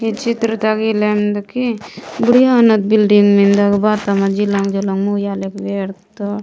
इचित्रता गिलंदगी बुढ़िया उन बिल्डिंग मिन्दा के बाद ता जुलून जुलुन मुयाल येडद --